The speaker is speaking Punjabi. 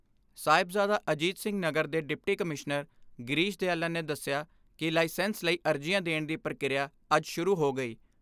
ਸਾਹਿਬਜ਼ਾਦਾ ਅਜੀਤ ਸਿੰਘ ਨਗਰ ਦੇ ਡਿਪਟੀ ਕਮਿਸ਼ਨਰ ਗਿਰੀਸ਼ ਦਿਆਲਨ ਨੇ ਦਸਿਆ ਕਿ ਲਾਇਸੈਂਸ ਲਈ ਅਰਜ਼ੀਆਂ ਦੇਣ ਦੀ ਪ੍ਰਕਿਰਿਆ ਅੱਜ ਸ਼ੁਰੂ ਹੋ ਗਈ।